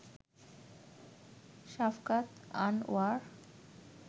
Shafqat Anwar